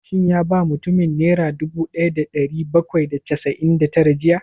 Shin ya ba mutumin nera dubu ɗaya da ɗari bakwai da casa'in da tara jiya?